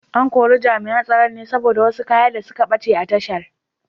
An kori Jami’an Tsaron ne saboda wasu kaya da suka bace a tashar.